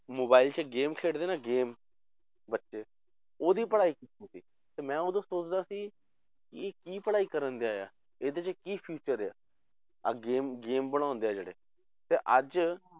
Mobile 'ਚ game ਖੇਡਦੇ ਨਾ game ਬੱਚੇ ਉਹਦੀ ਪੜ੍ਹਾਈ ਕੀਤੀ ਸੀ, ਮੈਂ ਉਦੋਂ ਸੋਚਦਾ ਸੀ, ਇਹ ਕੀ ਪੜ੍ਹਾਈ ਕਰ ਡਿਆ ਹੈ, ਇਹਦੇ 'ਚ ਕੀ future ਆ, ਆਹ game game ਬਣਾਉਂਦੇ ਆ ਜਿਹੜੇ ਤੇ ਅੱਜ